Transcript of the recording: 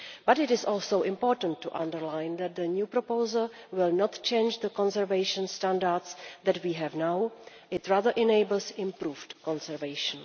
It is also important to underline that the new proposal will not change the conservation standards that we have now it rather enables improved conservation.